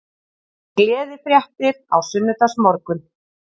Gleðifréttir á sunnudagsmorgun